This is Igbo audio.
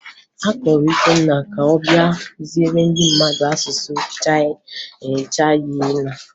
A kpọrọ Ikenna ka ọ bịa kụziere ndị mmadụ asụsụ Chayịna